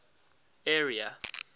area